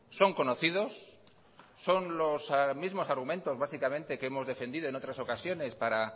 son conocidos son los mismos argumentos básicamente que hemos defendido en otras ocasiones para